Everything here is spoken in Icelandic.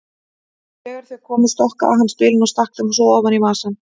Þegar þau komu stokkaði hann spilin og stakk þeim svo í vasann.